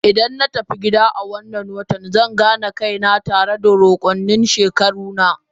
Idan na yi tafiya gida a wannan watan zan gane kaina tare da rukunin shekaru na.